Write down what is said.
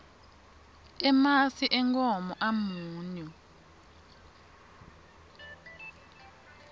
emasi enkhomo amunyu